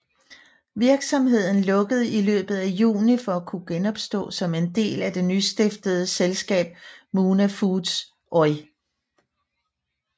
Virksomheden lukkede i løbet af juni for at kunne genopstå som en del af det nystiftede selskab Muna Foods Oy